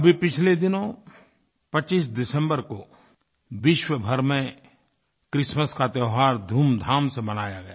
अभी पिछले दिनों 25 दिसम्बर को विश्वभर में क्रिसमस का त्योहार धूमधाम से मनाया गया